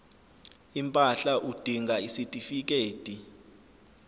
impahla udinga isitifikedi